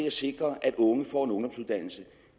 at sikre at unge får